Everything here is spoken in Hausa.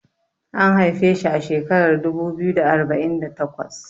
an haife shi a shekarar dubu biyu da arba'in da takwas